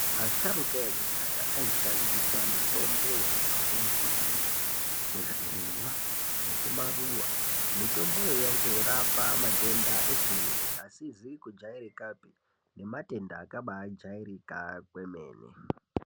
Asharuka ekudhaya aishandisa mitombo yaibva kumbuti, kuzvirimwa nekumaruva. Mitomboyo yaitorapa matenda eshe-eshe asizi kujairikapi nematenda akabajairika kwemene.